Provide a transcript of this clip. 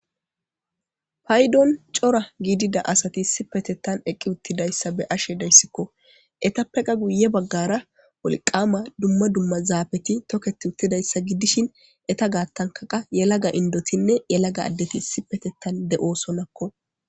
Paydon cora gidida asat issipetetan eqi utidaysa be'ashe daysko . Etappeka guye bagara wolqama dumma dumma zafet toketid utidaysa gidishn eta gatanka qas yelaga indotinne yelaga adeti issipetetan de'osonako.